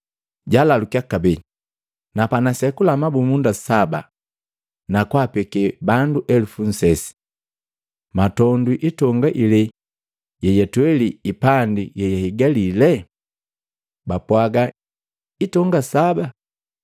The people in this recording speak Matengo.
Jaalalukya kabee “Na panasekula mabumunda saba na kwaapeke bandu elupu nsesi. Mwatondwi itonga ilee yeyatweli ipandi yeyahigalile?” Bapwaga, “Hitonga saba.”